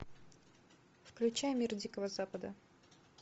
включай мир дикого запада